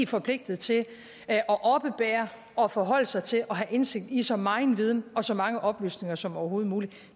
forpligtet til at oppebære og forholde sig til og have indsigt i så megen viden og så mange oplysninger som overhovedet muligt